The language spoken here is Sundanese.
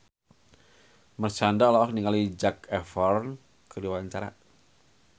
Marshanda olohok ningali Zac Efron keur diwawancara